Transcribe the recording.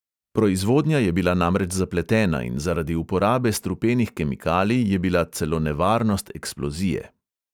Proizvodnja je bila namreč zapletena in zaradi uporabe strupenih kemikalij je bila celo nevarnost eksplozije.